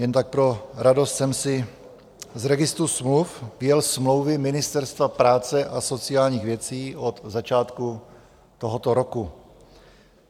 Jen tak pro radost jsem si z registru smluv vyjel smlouvy Ministerstva práce a sociálních věcí od začátku tohoto roku.